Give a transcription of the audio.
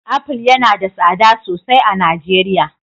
Apple yana da tsada sosai a Najeriya.